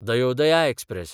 Dayodaya express